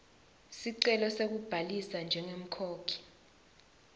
sicelo sekubhalisa njengemkhokhi